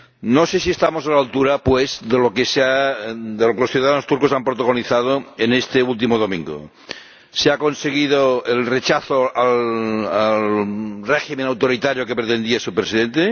No sé si estamos a la altura, pues, de lo que los ciudadanos turcos han protagonizado en este último domingo se ha conseguido el rechazo al régimen autoritario que pretendía su Presidente